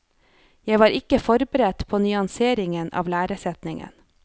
Jeg var ikke forberedt på nyanseringen av læresetningen.